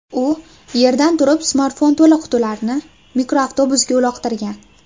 U yerdan turib smartfon to‘la qutilarni mikroavtobusga uloqtirgan.